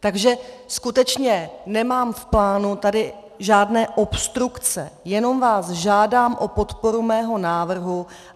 Takže skutečně nemám v plánu tady žádné obstrukce, jenom vás žádám o podporu svého návrhu.